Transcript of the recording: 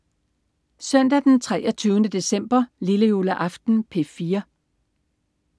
Søndag den 23. december. Lillejuleaften - P4: